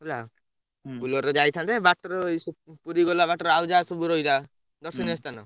ହେଲା Bolero ରେ ଯାଇଥାନ୍ତେ ବାଟରୁ ପୁରୀ ଗଲା ବାଟରେ ଆଉ ସବୁ ଯାହା ରହିଲା ଦର୍ଶନୀୟ ସ୍ଥାନ।